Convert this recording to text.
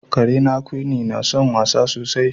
Karena Quinnie na son wasa sosai.